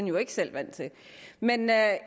jo ikke selv vant til men der er